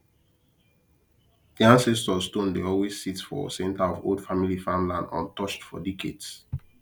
the ancestor stone dey always sit for center of old family farmland untouched for decades